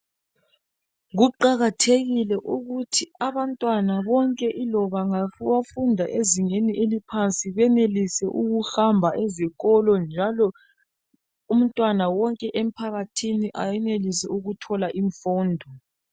Kuqakathekile ukuthi abantwana bonke iloba ngabafunda ezingeni eliphansi benelise ukuhamba ezikolo njalo umntwana wonke emphakathini ayenelise ukuthola imfundo.